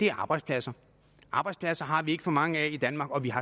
er arbejdspladser arbejdspladser har vi ikke for mange af i danmark og